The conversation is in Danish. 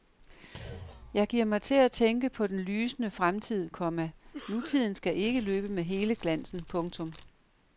Jeg giver mig til at tænke på den lysende fremtid, komma nutiden skal ikke løbe med hele glansen. punktum